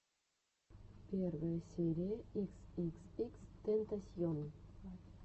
первая серия икс икс икс тентасьон